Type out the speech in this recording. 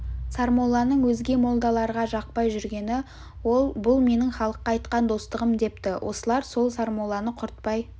сармолланың өзге молдаларға жақпай жүргені ол бұл менің халыққа айтқан достығым депті осылар сол сармолланы құртпай